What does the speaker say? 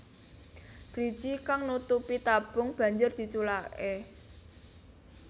Driji kang nutupi tabung banjur diculaké